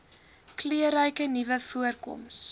kleurryke nuwe voorkoms